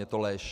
Je to lež!